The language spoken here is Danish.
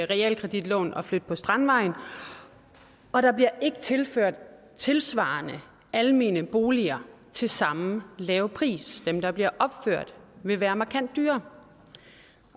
realkreditlån og flytte på strandvejen og der bliver ikke tilført tilsvarende almene boliger til samme lave priser dem der bliver opført vil være markant dyrere